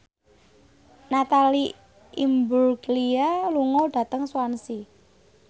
Natalie Imbruglia lunga dhateng Swansea